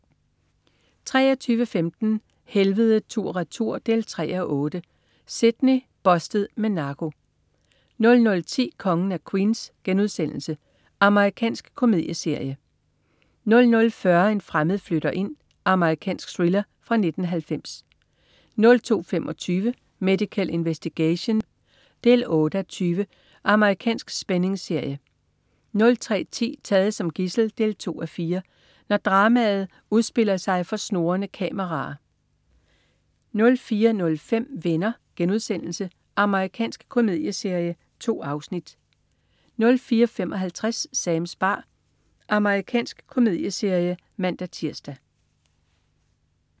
23.15 Helvede tur/retur 3:8. Sydney. "Bustet" med narko 00.10 Kongen af Queens.* Amerikansk komedieserie 00.40 En fremmed flytter ind. Amerikansk thriller fra 1990 02.25 Medical Investigation 8:20. Amerikansk spændingsserie 03.10 Taget som gidsel 2:4. Når dramaer udspilles for snurrende kameraer 04.05 Venner.* Amerikansk komedieserie. 2 afsnit 04.55 Sams bar. Amerikansk komedieserie (man-tirs)